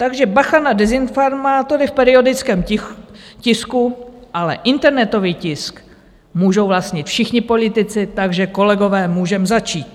Takže bacha na dezinformátory v periodickém tisku, ale internetový tisk můžou vlastnit všichni politici - takže kolegové, můžeme začít.